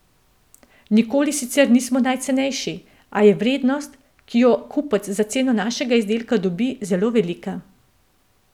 Nikoli sicer nismo najcenejši, a je vrednost, ki jo kupec za ceno našega izdelka dobi, zelo velika.